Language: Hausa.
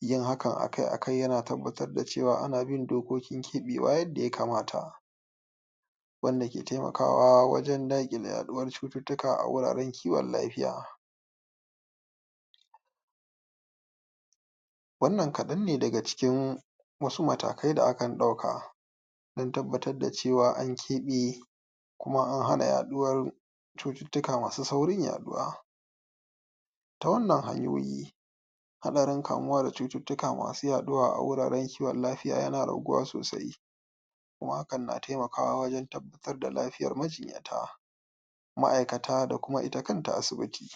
yin hakan akai akai yana tabbatar da cewa ana bin dokokin ke'bewa yadda ya kamata wanda ke taimakawa wajen da'kile yaduwar cututtuka a wuraren kiwon lafiya. Wannan kadanne daga cikin wasu matakai da akan dauka wajen tabbatar da cewa an ke'be kuma an hana yaduwar cututtuka masu saurin yaduwa. Ta wannan hanyoyi hadarin kamuwa da cututtuka masu yaduwa a wajajen kiwon lafiya yana raguwa sosai kuma hakan na taimakawa wajen tabbatar da lafiyan majinyata, ma'aikata da kuma ita kanta asibiti